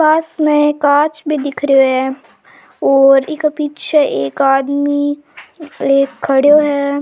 पास में कांच भी दिख रियो है और इक पीछे एक आदमी ले खडियो है।